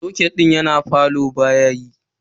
Soket din falo baya yi.